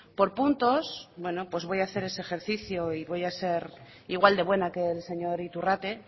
por puntos voy a hacer ese ejercicio y voy a ser igual de buena que el señor iturrate